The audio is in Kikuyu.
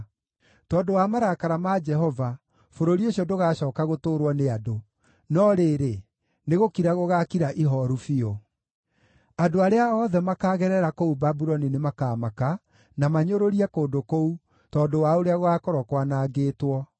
Tondũ wa marakara ma Jehova, bũrũri ũcio ndũgacooka gũtũũrwo nĩ andũ, no rĩrĩ, nĩgũkira gũgaakira ihooru biũ. Andũ arĩa othe makaagerera kũu Babuloni nĩmakamaka, na manyũrũrie kũndũ kũu tondũ wa ũrĩa gũgaakorwo kwanangĩtwo.